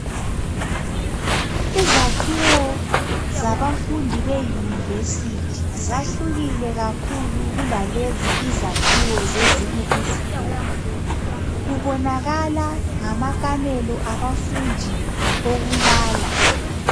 Izakhiwo zabafundi be University zahlukile kakhulu kulalezi izakhiwo zezinye izikolo, kubonakala ngamakamelo abafundi okulala.